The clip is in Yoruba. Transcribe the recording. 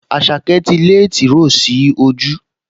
Àṣàkẹ́ ti lé tìróò sí ojú